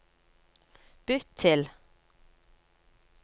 bytt til